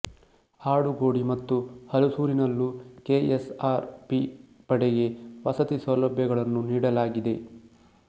ಆಡುಗೋಡಿ ಮತ್ತು ಹಲಸೂರಿನಲ್ಲೂ K S R P ಪಡೆಗೆ ವಸತಿ ಸೌಲಭ್ಯಗಳನ್ನು ನೀಡಲಾಗಿದೆ